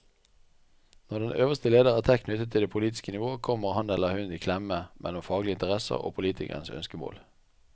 Når den øverste leder er tett knyttet til det politiske nivå, kommer han eller hun i klemme mellom faglige interesser og politikernes ønskemål.